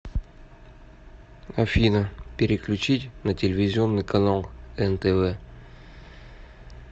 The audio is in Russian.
афина переключить на телевизионный канал нтв